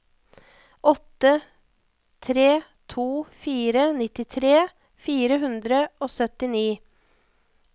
åtte tre to fire nittitre fire hundre og syttini